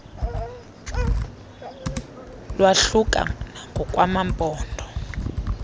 kwahluka nangokwa maphondo